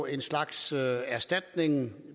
en slags erstatning